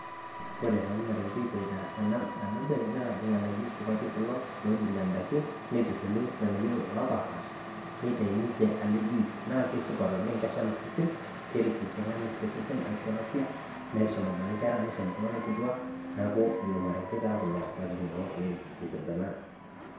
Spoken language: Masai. Kore taa marenge epirrita ena baye naa lng'anayo supati kulo leibule ndaaki neitushuli ilng'anayo opapasha neitai ninchee ele juis naa kesupat oleng keshaam sesen kereet ltung'ani te sesen ashoo afia. Neshaam abaki nkerra neshaam iltung'ana kituak naaku ilmarenge taa kulo naitining'o apirita naa.